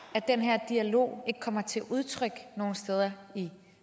at den her dialog ikke kommer til udtryk nogen steder i